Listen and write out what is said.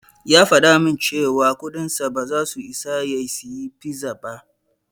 Ya faɗa min cewa kudinsa ba zasu isa ya siyi pizza ba.